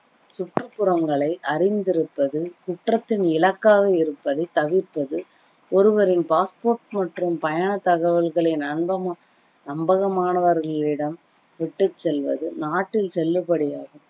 சுற்றுப்புறங்களை அறிந்திருப்பது, குற்றத்தின் இலக்காக இருப்பதை தவிர்ப்பது, ஒருவரின் passport மற்றும் பயண தகவல்களை நம்ப~ நம்பகமானவர்களிடம் விட்டுச் செல்வது, நாட்டில் செல்லுபடியா